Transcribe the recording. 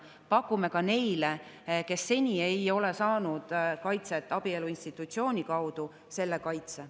Pakume ka neile, kes seni ei ole saanud kaitset abielu institutsiooni kaudu, selle kaitse.